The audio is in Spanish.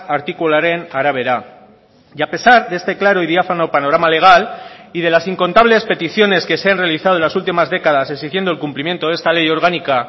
artikuluaren arabera y a pesar de este claro y diáfano panorama legal y de las incontables peticiones que se han realizado en las últimas décadas exigiendo el cumplimiento de esta ley orgánica